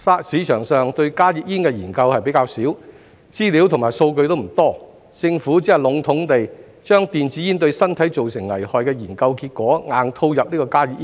市場上對加熱煙的研究較少，資料及數據並不多，政府只能籠統地把電子煙對身體造成危害的研究結果硬套入加熱煙。